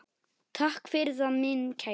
Takk fyrir það, minn kæri.